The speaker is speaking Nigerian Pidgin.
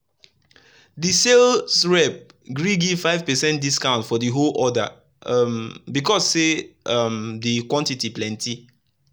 the sales rep gree give 5 percent discount for the whole order um because say um the quantity plenty.